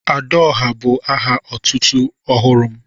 "Adaọhá" bu aha otútú ọhụrụ m